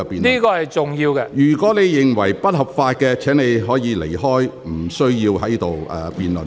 張超雄議員，如果你認為這是不合法的，你可以離開，無須在此辯論。